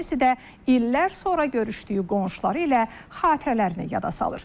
Kimisi də illər sonra görüşdüyü qonşuları ilə xatirələrini yada salır.